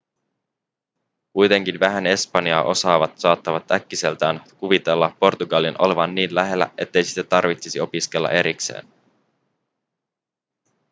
kuitenkin vähän espanjaa osaavat saattavat äkkiseltään kuvitella portugalin olevan niin lähellä ettei sitä tarvitsisi opiskella erikseen